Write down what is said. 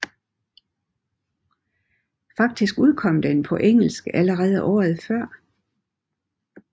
Faktisk udkom den på engelsk allerede året før